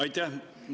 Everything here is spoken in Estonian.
Aitäh!